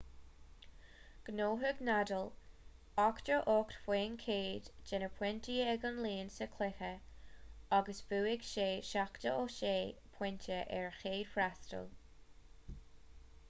ghnóthaigh ​​nadal 88% de na pointí ag an líon sa chluiche agus bhuaigh sé 76 pointe ar a chéad fhreastal